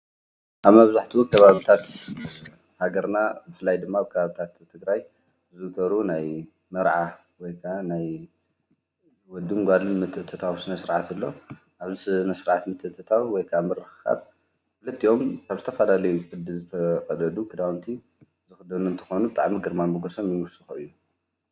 ኣብ መብዛሕቲኡ ከባቢታት ሃገርና ብፍላይ ድማ ኣብ ከባቢታት ትግራይ ዝግበሩ ናይ መርዓ ወይ ካዓ ናይ ወድን ጓልን ምትእትታው ስነ ስርዓት ኣሎ:: ኣብቲ ስነ ስርዓት ምትእትታው ወይ ካዓ ምርኽኻብ ክልቲኦም ካብ ዝተፈላለዩ ቅዲ ዝተቀደዱ ክዳዉንቲ ዝኸደኑ እንትኮኑ ብጣዕሚ ግርማ ሞጎሶም እዉን ይዉስኹ እዩም::